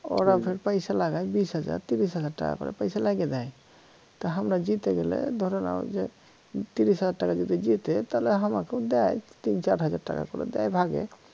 ওরাও পয়সা লাগায় বিশ হাজার তিরিশ হাজার টাকা করে পয়সা লাগিয়ে দেয় তা হামরা জিতে গেলে ধরো না ঐযে তিরিশ হাজার টাকা যদি জিতে তাহলে হামাকেও দেয় তিন চার হাজার টাকা করে দেয় ভাগে